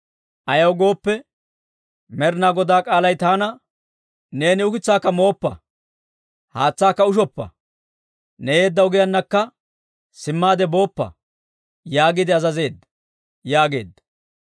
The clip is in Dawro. Ayaw gooppe, Med'inaa Godaa k'aalay taana, ‹Neeni ukitsaakka mooppa, haatsaakka ushoppa, ne yeedda ogiyaanakka simmaade booppa› yaagiide azazeedda» yaageedda.